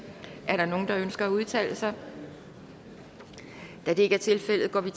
er der nogen der ønsker at udtale sig da det ikke er tilfældet går vi